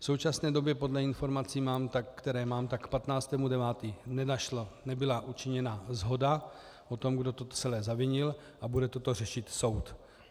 V současné době podle informací, které mám, k 15. 9. nebyla učiněna shoda o tom, kdo to celé zavinil, a bude toto řešit soud.